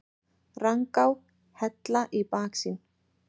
Rangá, Hella í baksýn.